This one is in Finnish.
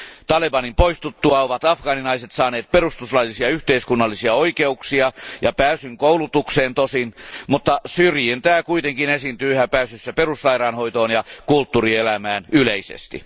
Talebanin poistuttua afgaaninaiset ovat tosin saaneet perustuslaillisia yhteiskunnallisia oikeuksia ja pääsyn koulutukseen, mutta syrjintää kuitenkin esiintyy yhä pääsyssä perussairaanhoitoon ja kulttuurielämään yleisesti.